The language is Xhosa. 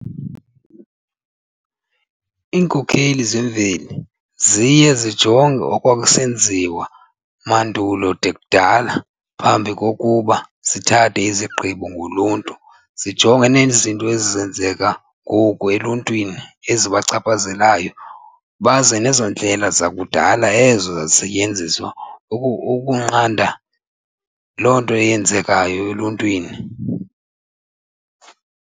Iinkokheli zemveli ziye zijonge okwakusenziwa mandulo kude kudala phambi kokuba zithathe izigqibo ngoluntu zijonge nezinto ezenzeka ngoku eluntwini ezibachaphazelayo baze nezo ndlela zakudala ezazisetyenziswa ukunqanda loo nto eyenzekayo eluntwini.